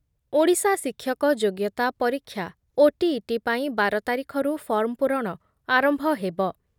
ଓଡ଼ିଶା ଶିକ୍ଷକ ଯୋଗ୍ୟତା ପରୀକ୍ଷା (ଓଟିଇଟି) ପାଇଁ ବାର ତାରିଖରୁ ଫର୍ମ ପୂରଣ ଆରମ୍ଭ ହେବ ।